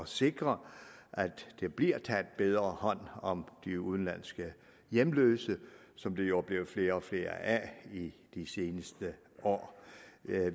sikre at der bliver taget bedre hånd om de udenlandske hjemløse som der jo er blevet flere og flere af i de seneste år